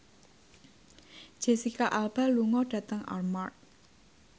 Jesicca Alba lunga dhateng Armargh